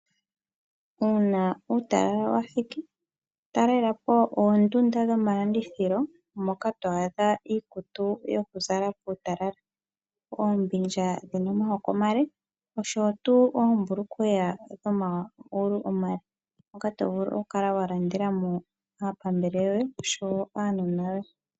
Una uutalala wathiki talelapo oondunda dhomalandithilo moka to adha iikutu yoku zala puutalala. Oombindja dhina oma yako omale oshotu oombulukweya dhoma gulu omale moka to vulu oku kala wa landelamo aapambele yoye oshowo aanona yoye.